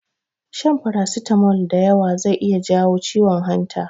Shan farasitamol da yawa zai iya jawo ciwon hanta.